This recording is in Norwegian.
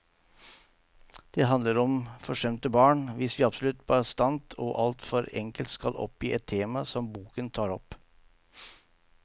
Det handler om forsømte barn, hvis vi absolutt bastant og alt for enkelt skal oppgi et tema som boken tar opp.